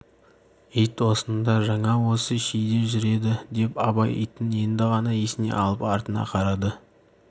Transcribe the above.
ит осында жаңа осы шиде жүр еді деп абай итін енді ғана есіне алып артына қарады